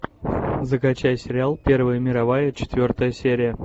закачай сериал первая мировая четвертая серия